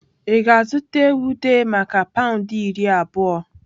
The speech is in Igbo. Ị ga-azụta ewu dey maka pound iri abụọ?